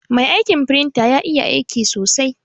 Mai aiƙin firinta ƴa iƴa aiƙi sosai.